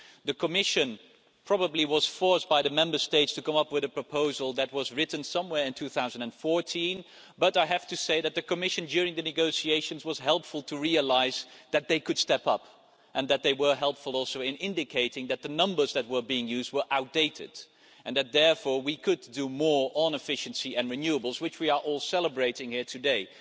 The Commission was probably forced by the Member States to come up with a proposal that was written some time in 2014, but I have to say that the Commission, during the negotiations, was helpful and realised that it could step up. It was helpful also in indicating that the numbers that were being used were outdated and that therefore we could do more on efficiency and renewables, which we are all celebrating here today.